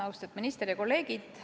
Austatud minister ja kolleegid!